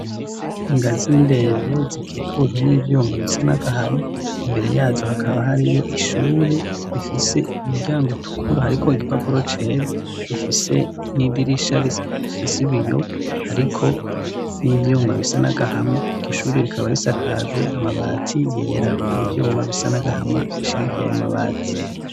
Ingazi indende zikikujwe n'ivyuma bisa n'agahama imbere yazo hakaba hariyo ishuri rifise umuryango utukuru hariko igipapuro cera rifise n'idirisha rifise biyo hariko n'ivyuma bisa n'agahama iryo ishuri rikaba risakajwe amabati yera n'ivyuma bisa n'agahama bishigikiye ayo mabati.